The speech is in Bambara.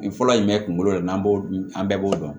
Nin fɔlɔ ye jumɛn kunkolo yɛrɛ n'an b'o dun an bɛɛ b'o dɔn